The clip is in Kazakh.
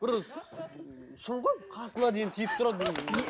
бір шын ғой қасына дейін тиіп тұрады